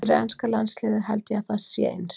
Fyrir enska landsliðið held ég að það sé eins.